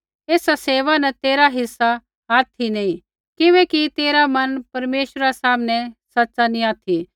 एसा सेवा न तेरा हिस्सा ऑथि नी बाँडा किबैकि तेरा मन परमेश्वरा सामनै सच़ा नी ऑथि